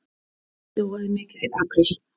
Snjóaði mikið í apríl?